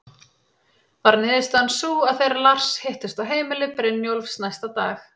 Varð niðurstaðan sú að þeir Lars hittust á heimili Brynjólfs næsta dag.